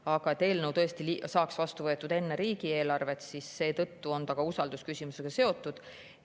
Aga seetõttu, et eelnõu peaks tõesti saama vastu võetud enne riigieelarvet, on see usaldusküsimusega seotud.